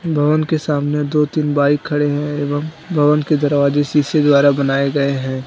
भवन के सामने दो तीन बाइक खड़े हैं एवं भवन के दरवाजे शीशे द्वारा बनाए गए हैं।